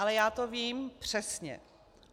Ale já to vím přesně.